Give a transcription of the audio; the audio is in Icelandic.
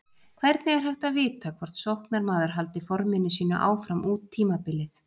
Hvernig er hægt að vita hvort sóknarmaður haldi forminu sínu áfram út tímabilið?